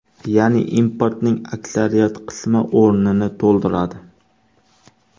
Ya’ni importning aksariyat qismi o‘rnini to‘ldiradi.